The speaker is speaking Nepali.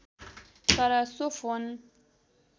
तर सो फोन